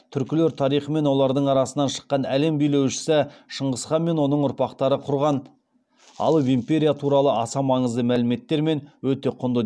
түркілер тарихы мен олардың арасынан шыққан әлем билеушісі шыңғыс хан мен оның ұрпақтары құрған алып империя туралы аса маңызды мәліметтер мен өте құнды